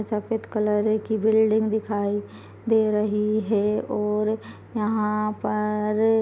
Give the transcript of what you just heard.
सफेद कलर की बिल्डिंग दिखाई दे रही है और यहाँ पर--